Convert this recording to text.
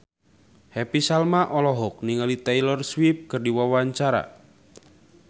Happy Salma olohok ningali Taylor Swift keur diwawancara